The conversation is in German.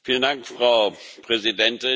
Frau Präsidentin!